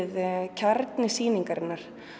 kjarni sýningarinnar